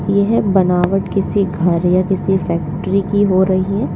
यह बनावट किसी घर या किसी फैक्ट्री की हो रही है।